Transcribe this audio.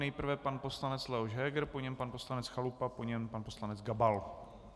Nejprve pan poslanec Leoš Heger, po něm pan poslanec Chalupa, po něm pan poslanec Gabal.